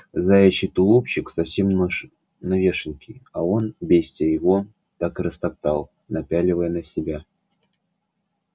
заячий тулупчик совсем новёшенький а он бестия его так и распорол напяливая на себя